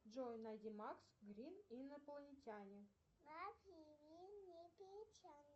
джой найди макс грин инопланетяне